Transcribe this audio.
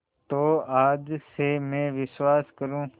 तो आज से मैं विश्वास करूँ